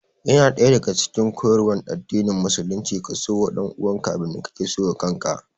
Yana daya daga cikin koyarwan addinin musulunci ka so wa ɗanuwanka abin da ka so wa kaka